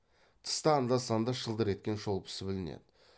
тыста анда санда шылдыр еткен шолпысы білінеді